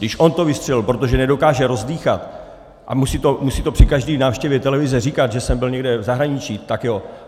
Když on to vystřelil, protože nedokáže rozdýchat a musí to při každé návštěvě televize říkat, že jsem byl někde v zahraničí, tak jo.